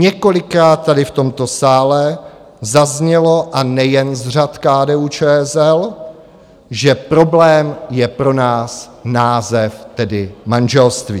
Několikrát tady v tomto sále zaznělo, a nejen z řad KDU-ČSL, že problém je pro nás název, tedy manželství.